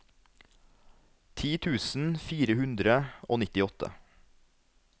ti tusen fire hundre og nittiåtte